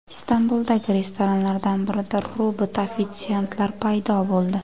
Istanbuldagi restoranlardan birida robot ofitsiantlar paydo bo‘ldi .